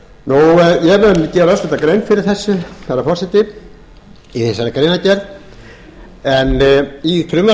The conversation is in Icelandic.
mun gera örstutta grein fyrir þessu herra forseti í þessari greinargerð í frumvarpi þessu er lagt til